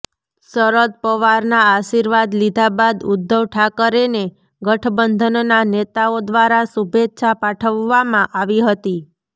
શરદ પવારના આર્શીવાદ લીધા બાદ ઉદ્ધવ ઠાકરેને ગઠબંધનના નેતાઓ દ્વારા શુભેચ્છા પાઠવવામાં આવી હતી